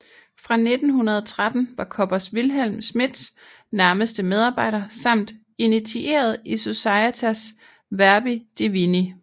Fra 1913 var Koppers Wilhelm Schmidts nærmeste medarbejder samt initieret i Societas Verbi Divini